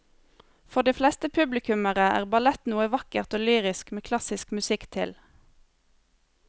For de fleste publikummere er ballett noe vakkert og lyrisk med klassisk musikk til.